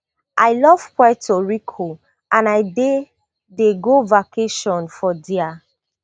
i love puerto rico and i dey dey go vacation for dia